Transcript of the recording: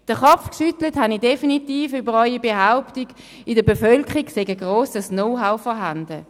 Den Kopf geschüttelt habe ich definitiv über Ihre Behauptung, in der Bevölkerung sei ein grosses Know-how vorhanden.